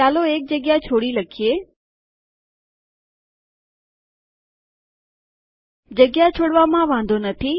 ચાલો એક જગ્યા છોડી લખીએ જગ્યા છોડવામાં વાંધો નથી